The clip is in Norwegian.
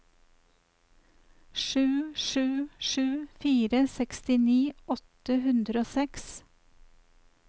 sju sju sju fire sekstini åtte hundre og seks